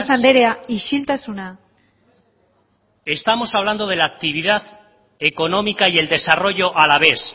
andrea isiltasuna con base de mercancías de la zona norte de cuarenta y cinco mil toneladas estamos hablando de la actividad económica y el desarrollo alavés